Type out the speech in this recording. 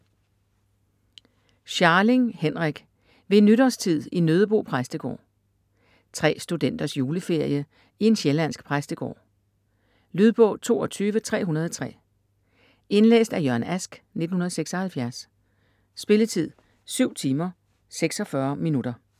Scharling, Henrik: Ved nytårstid i Nøddebo præstegård Tre studenters juleferie i en sjællandsk præstegård. Lydbog 22303 Indlæst af Jørgen Ask, 1976. Spilletid: 7 timer, 46 minutter.